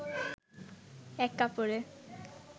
এক কাপড়ে